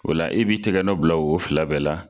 Ola e b'i tɛgɛ nɔ bila o fila bɛɛ la.